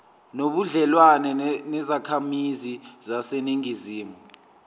nobudlelwane nezakhamizi zaseningizimu